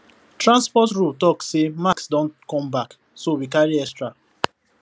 transport rule talk say mask don come back so we carry extra